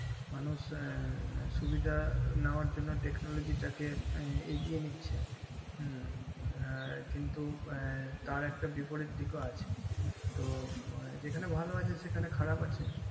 মানুষ আঃ সুবিধা নেওয়া জন্য তেকোনোলজি তাকে এগিয়ে নিচ্ছে হুম হ্যাঁ কিন্তু তার একটা বিপরিদ দিক আছে তো যেখানে ভালো আছে সেখানে খারাপ আছে